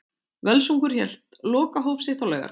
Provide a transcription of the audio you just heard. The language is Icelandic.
Völsungur hélt lokahóf sitt á laugardag.